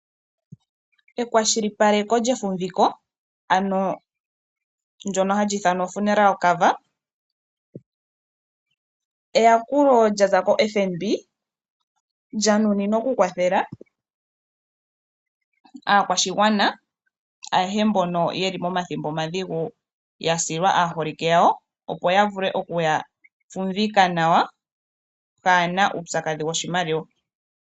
Ekwashilipaleko lyefumviko olyo eyakulo lya za koFNB, lya nuninwa okukwathela aakwashigwana ayehe mboka ye li momathimbo omadhigu ya silwa aaholike yawo, opo ya vule okuya fumvika nawa kaaye na uupyakadhi woshimaliwa.